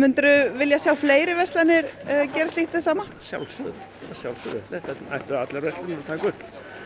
myndirðu vilja sjá fleiri verslanir gera slíkt hið sama að sjálfsögðu þetta ættu allar verslanir að taka upp